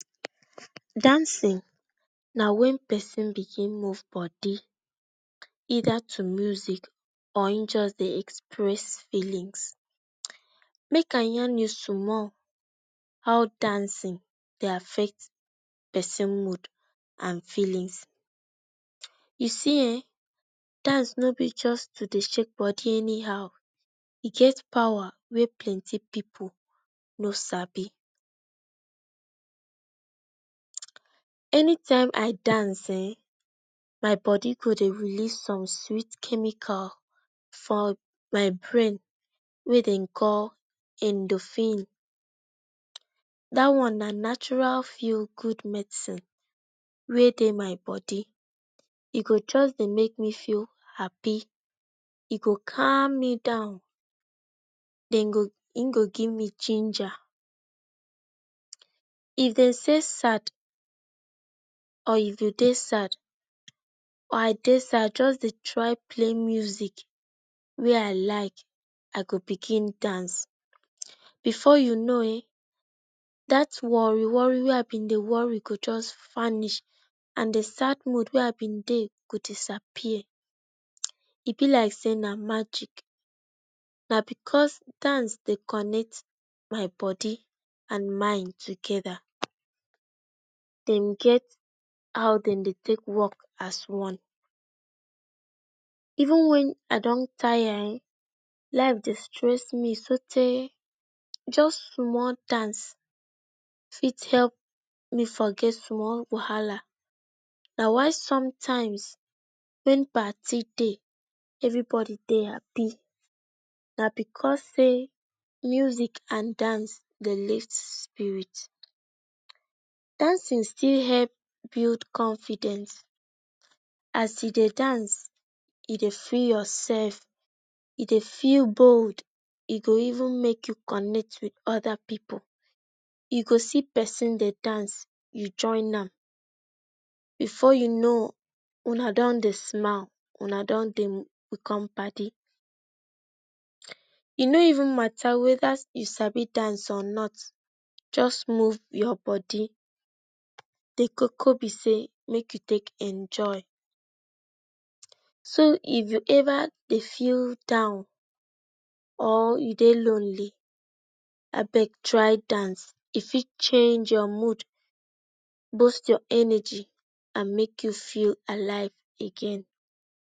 Dancing na wen pesin begin move bodi either to music or im just dey express feelings. Make i yarn me small how dancing dey affect pesin mood an feelings. You see um, dans no be just to dey shake bodi anyhow e get powa wey plenti pipu no sabi, any time i dans um my bodi go dey release some sweet chemical for my brain wey dem call endorphin, da one na natural feel good medisin wey dey my bodi, e go just dey make me feel happy, e go cam me down den go, e go give me ginger, if dem say sad or you go dey sad or i dey sad juss dey try play music wey i like, i go begin dans before you know um dat worri-worri wey i bin dey worry go juss vanish and di sad mood wey i bin dey go disappear, e bi like say na magic na because dance dey connect my bodi and mind together, dem get how dem dey take work as one. Even wen i don tire um life dey stress me so tay juss small dance fit hep me forget small wahala, na why sometimes wen parti dey every bodi dey hapi na because say music and dance dey lift spirit, dancing still hep build confidence as e dey dance, e dey fi yourself you dey feel bold e go even make you connect wit oda pipu you go see pesin dey dans you join nam, bifor you know una don dey smile una don dey become padi e no even mata wether you sabi dans or not juss move your bodi, dey koko be say make you take enjoy so if you eva dey feel down or you dey lonely i beg try dans e fit change your mood boast your energy and make you feel alive again.